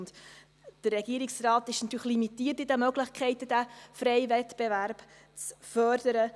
Der Regierungsrat ist natürlich in den Möglichkeiten, diesen freien Wettbewerb zu fördern, limitiert.